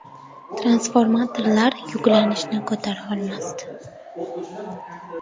Transformatorlar yuklanishni ko‘tara olmasdi.